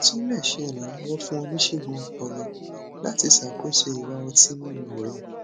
o tún lè ṣe ìrànlọwọ fún oníṣègùn ọpọlọ láti ṣàkóso ìwà ọtí mímu rẹ